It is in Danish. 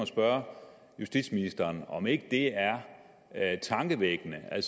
spørge justitsministeren om ikke det er tankevækkende at